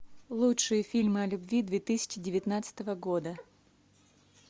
лучшие фильмы о любви две тысячи девятнадцатого года